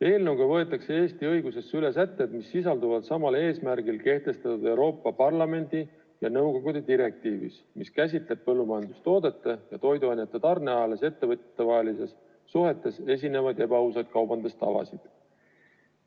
Eelnõuga võetakse Eesti õigusesse üle sätted, mis sisalduvad samal eesmärgil kehtestatud Euroopa Parlamendi ja nõukogu direktiivis, mis käsitleb põllumajandustoodete ja toiduainete tarneahelas ettevõtjatevahelistes suhetes esinevaid ebaausaid kaubandustavasid.